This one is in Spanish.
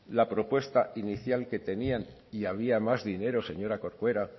la propuesta inicial que tenían y había más dinero señora corcuera